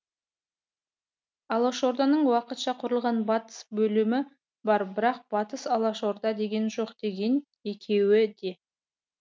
алашорданың уақытша құрылған батыс бөлімі бар бірақ батыс алашорда деген жоқ деген екеуі де